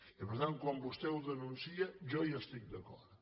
i per tant quan vostè ho denuncia jo hi estic d’acord